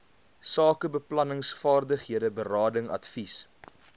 sakebeplanningsvaardighede berading advies